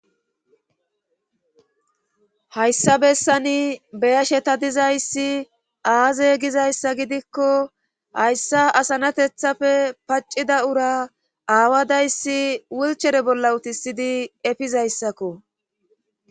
hayssa bessani beyasheta dizayssi aaze gizayssa gidikko hayssa asanatethafe paccida ura aawadayssi wulchere bolla utisidi efizayssakko